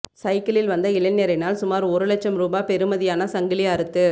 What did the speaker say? சையிக்கிளில் வந்த இளைஞரினால் சுமார் ஒரு லட்சம் ரூபா பெறுமதியான சங்கிலி அறுத்து